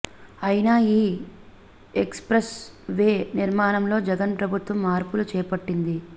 అయితే ఈ expressway నిర్మాణంలో జగన్ ప్రభుత్వం మార్పులు చేపట్టింది